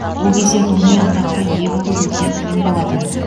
ол кезде ғылыми атаққа ие болу өте қиын болатын